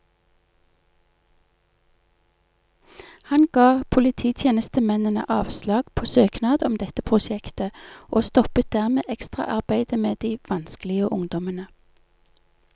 Han ga polititjenestemennene avslag på søknad om dette prosjektet, og stoppet dermed ekstraarbeidet med de vanskelige ungdommene.